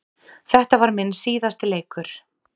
Þetta var minn síðasti leikur.